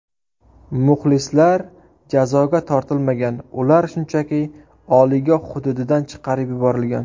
Muxlislar jazoga tortilmagan, ular shunchaki o‘yingoh hududidan chiqarib yuborilgan.